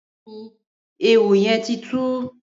Bẹẹni, éwó yèn ti tù